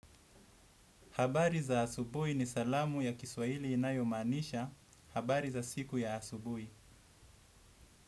Habari za asubui ni salamu ya Kiswahili inayomaanisha. Habari za siku ya asubui.